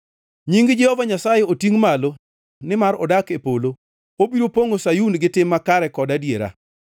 Nying Jehova Nyasaye otingʼ malo, nimar odak e polo; obiro pongʼo Sayun gi tim makare kod adiera.